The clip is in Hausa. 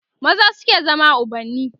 maza suke zama ubanni